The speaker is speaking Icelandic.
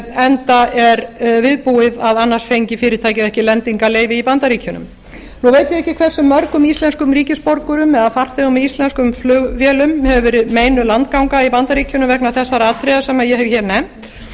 enda er viðbúið að annars fengi fyrirtækið ekki lendingarleyfi í bandaríkjunum nú veit ég ekki hversu mörgum íslenskum ríkisborgurum eða farþegum með íslenskum flugvélum hefur verið meinuð landganga í bandaríkjunum vegna þessara atriða sem ég hef nefnt en